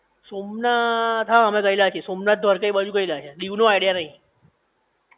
સોમનાથ હા અમે ગયેલા છે સોમનાથ દ્વારકા એ બાજુ ગયેલા છે દીવ નો આઇડિયા નઇ